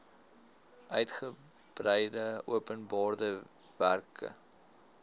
uigebreide openbare werke